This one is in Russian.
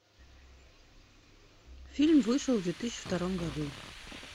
фильм вышел в две тысячи втором году